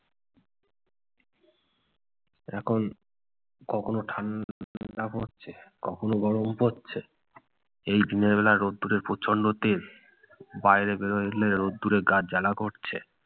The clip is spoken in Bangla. এরকম কখনো ঠান্ডা পড়ছে, কখনো গরম পরছে। এই দিনের বেলা রোদ্দুরের প্রচন্ড তেজ। বাইরে বের হলে রোদ্দুরে গা জ্বালা করছে।